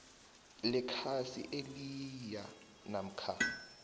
lekhasi eliyia namkha